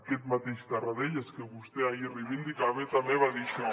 aquest mateix tarradellas que vostè ahir reivindicava també va dir això